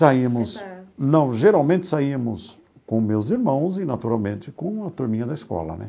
Saímos... Não, geralmente saímos com meus irmãos e, naturalmente, com a turminha da escola, né?